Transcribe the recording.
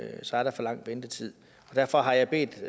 det så er der for lang ventetid derfor har jeg bedt